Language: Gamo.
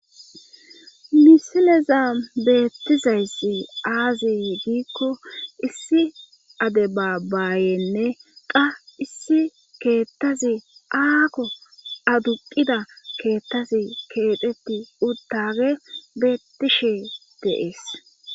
misileza beettizayssi aazi diikko issi ade baabayenne qa issi keettazi aakko aduqida keettazi keexeti udtage beettishe deees